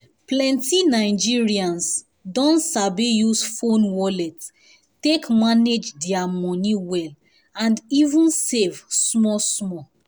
plenty nigerians don sabi use phone wallet take manage their money well and even save small small.